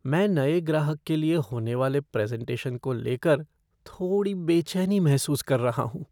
मैं नए ग्राहक के लिए होने वाले प्रेज़ेन्टेशन को लेकर थोड़ी बेचैनी महसूस कर रहा हूँ।